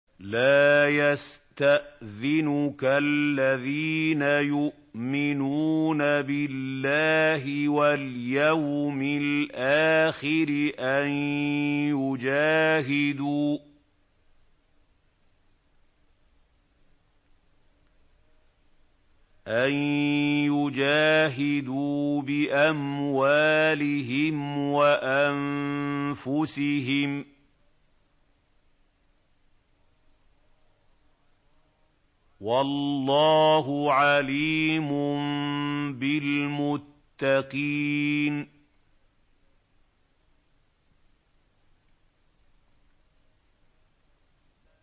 لَا يَسْتَأْذِنُكَ الَّذِينَ يُؤْمِنُونَ بِاللَّهِ وَالْيَوْمِ الْآخِرِ أَن يُجَاهِدُوا بِأَمْوَالِهِمْ وَأَنفُسِهِمْ ۗ وَاللَّهُ عَلِيمٌ بِالْمُتَّقِينَ